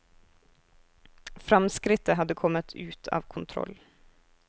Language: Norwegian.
Framskrittet hadde kommet ut av kontroll.